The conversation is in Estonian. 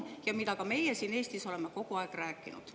Seda oleme ka meie siin Eestis kogu aeg rääkinud.